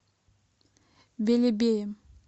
белебеем